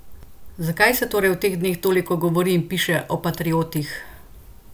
Zakaj se torej v teh dneh toliko govori in piše o patriotih?